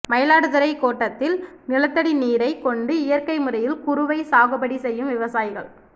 மயிலாடுதுறை கோட்டத்தில் நிலத்தடி நீரைக் கொண்டு இயற்கை முறையில் குருவை சாகுபடி செய்யும் விவசாயிகள்